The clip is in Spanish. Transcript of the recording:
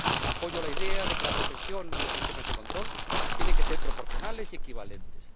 Apoyo la idea de que la protección y los sistemas de control tienen que ser proporcionales y equivalentes.